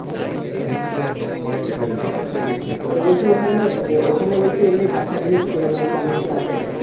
বুঝতে পেরেছি ওরা বলছে ওখানে ওখানে বলছে এমনি দেখার জিনিস মানে কেমন কি আছে?